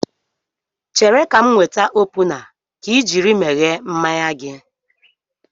Chere ka m weta opuna ka I jiri meghee mmanya gị